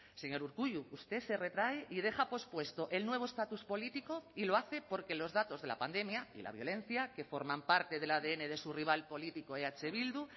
señor urkullu usted se retrae y deja pospuesto el nuevo estatus político y lo hace porque los datos de la pandemia y la violencia que forman parte del adn de su rival político eh bildu